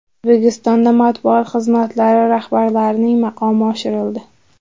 O‘zbekistonda matbuot xizmatlari rahbarlarining maqomi oshirildi.